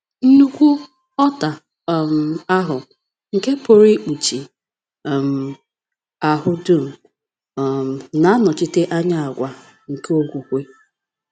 Nnukwu ọta um ahụ, nke pụrụ ikpuchi um ahụ dum, um na-anọchite anya àgwà nke okwukwe.